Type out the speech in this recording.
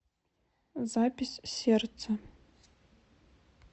запись сердце